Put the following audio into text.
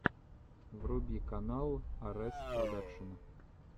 вруби канал арэс продакшн